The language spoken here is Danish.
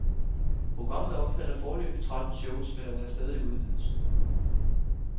Programmet omfatter foreløbig tretten shows, men er under stadig udvidelse.